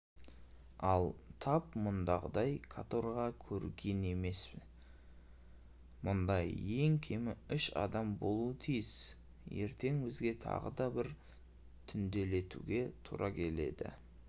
ал тап мұндағыдай каторга көрген емен мұнда ең кемі үш адам болуы тиіс ертең бізге тағы да түнделетуге тура келеді